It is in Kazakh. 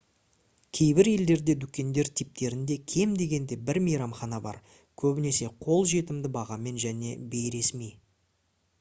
кейбір елдерде дүкендер типтерінде кем дегенде бір мейрамхана бар көбінесе қол жетімді бағамен және бейресми